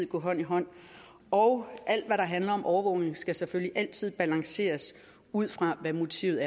gå hånd i hånd og alt hvad der handler om overvågning skal selvfølgelig altid balanceres ud fra hvad motivet